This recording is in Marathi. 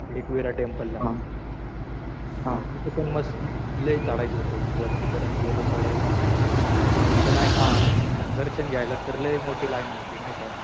एकविरा टेम्पलला. तिथून मग लय चढायचं होतं. मग वरती पर्यंत गेलो चढायला. मग तिथं नाही का असं दर्शन घ्यायला तर लय मोठी लाईन होती नाही का.